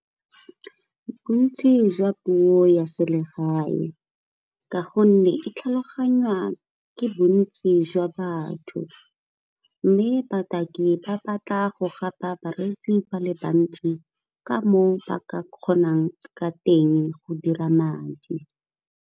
Bontsi jwa puo ya selegae ka gonne e tlhaloganywa ke bontsi jwa batho mme, bataki ba batla go gapa bareetsi ba le bantsi ka moo ba ka kgonang ka teng go dira madi.